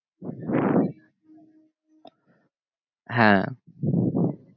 হ্যাঁ